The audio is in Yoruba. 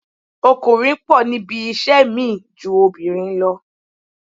Ọkùnrin pọ̀ níbi iṣẹ́ mi ju obìnrin lọ